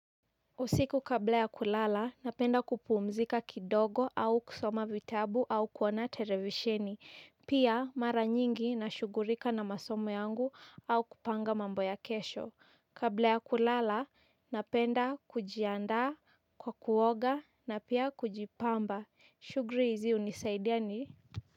Usiku kabla ya kulala, napenda kupumzika kidogo au kusoma vitabu au kuona televisheni. Pia mara nyingi na shughulika na masomo yangu au kupanga mambo ya kesho. Kabla ya kulala, napenda kujiandaa kwa kuoga na pia kujipamba. Shughuli hizi hunisaidia ni.